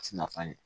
Ti nafa ɲɛ